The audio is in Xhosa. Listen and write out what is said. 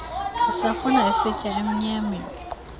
isafuna isitya emnyameni